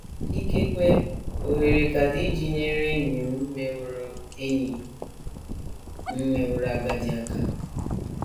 Ikekwe ohere ka dị iji nyere enyi m meworo enyi m meworo agadi aka.